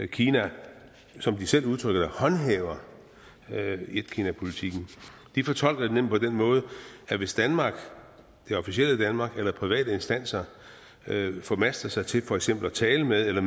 kina som de selv udtrykker det håndhæver etkinapolitikken de fortolker den nemlig på den måde at hvis danmark det officielle danmark eller private instanser formaster sig til for eksempel at tale med eller